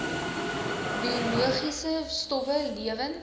biologiese stowwe lewend